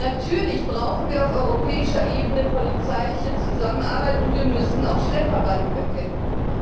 Natürlich brauchen wir auf europäischer Ebene polizeiliche Zusammenarbeit, und wir müssen auch Schlepperbanden bekämpfen.